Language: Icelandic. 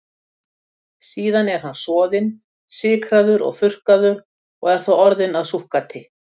Síðan er hann soðinn, sykraður og þurrkaður og er þá orðinn að súkkati.